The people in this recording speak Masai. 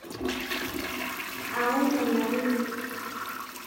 Aany enauri.